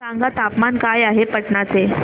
सांगा तापमान काय आहे पाटणा चे